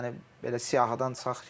Yəni belə siyahıdan çıxaq ki.